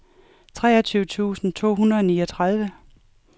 treogtyve tusind to hundrede og niogtredive